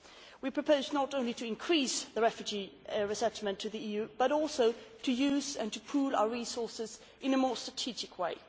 We proposed not only to increase refugee resettlement to the EU, but also to use and to pool our resources in a more strategic way.